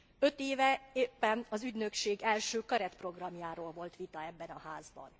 Öt éve éppen az ügynökség első keretprogramjáról volt vita ebben a Házban.